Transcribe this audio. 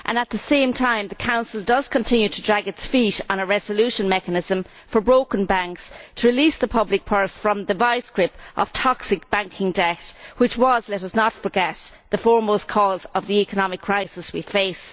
At the same time, the Council continues to drag its feet on a resolution mechanism for broken banks, to release the public purse from the vice grip of toxic banking debt, which was let us not forget the foremost cause of the economic crisis we face.